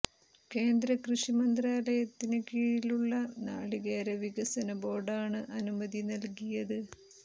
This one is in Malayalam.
കേന്ദ്ര കൃഷി മന്ത്രാലയത്തിന് കീഴിലുള്ള നാളികേര വികസന ബോര്ഡാണ് അനുമതി നല്കിയത്